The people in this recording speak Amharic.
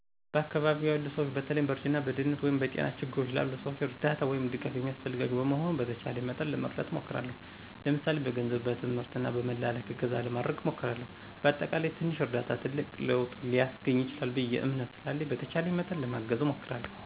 በአካባቢው ያሉ ስዎች በተለይም በእርጅና፣ በድህነት ወይም በጤና ችግርች ላሉ ሰዎች እርዳታ /ድጋፍ የሚስፈልጋቸው በመሆኑ በተቻለኝ መጠን ለመርዳት እሞክርለሁ ለምሳሌ፦ በገንዝብ፣ በትምህርት እና በመላላክ እገዛ ለማድረግ እሞክርለሁ። በአጠቃላይ ትንሽ እርዳታ ትልቅ ለውጥ ሊስገኝ ይችላል ብየ እምነት ስላለኝ በተቻለኝ መጠን ለማገዝ እሞክራለሁ።